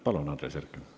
Palun, Andres Herkel!